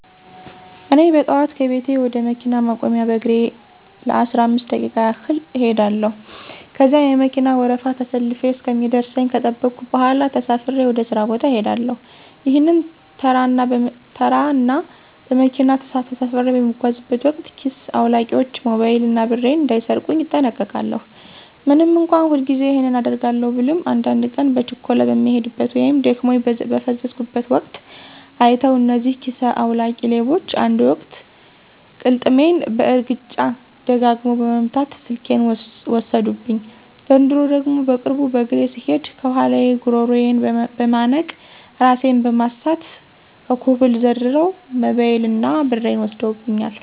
እኔ በጠዋት ከቤቴ ወደ መኪና ማቆሚያ በእግሬ ለአስራአምስት ደቂቃ ያህል እኸዳለው። ከዚያ የመከና ወረፋ ተሰልፌ እስከሚደርሰኝ ከጠበኩ በኋላ ተሳፍሬ ወደ ሥራ ቦታ እሄዳለሁ። ይህንን ተራ እና በመኪና ተሳፍሬ በምጓዝበት ወቅት ኪስ አዉላቂዎች ሞባይል እና ብሬን እንዳይሰርቁኝ እጠነቀቃለው። ምንም እንኳ ሁልጊዜ ይህንን አደርጋለው ብልም አንዳድ ቀን በችኮላ በምሄድበት ወይም ደክሞኝ በፈዘዝኩበት ወቅት አይተዉ እነዚህ ኪሰ አዉላቂ ሌቦች አንድ ወቅት ቅልጥሜን በእርግጫ ደጋግመው በመምት ስልኬን ወሰዱብኝ፤ ዘንድሮ ደግሞ በቅርቡ በእግሬ ስሄድ ከኋላየ ጉረሮየን በመነቅ እራሴን በማሳት ከኮብል ዘርረዉ ሞበይል እና ብሬን ወስደውብኛል።